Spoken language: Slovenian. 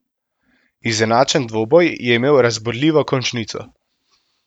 Izenačen dvoboj je imel razburljivo končnico.